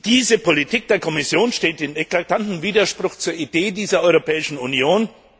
Diese Politik der Kommission steht in eklatantem Widerspruch zur Idee dieser Europäischen Union.